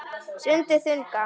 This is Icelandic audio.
Stundi þungan.